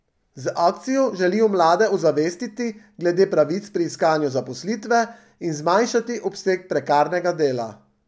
Z akcijo želijo mlade ozavestiti glede pravic pri iskanju zaposlitve in zmanjšati obseg prekarnega dela.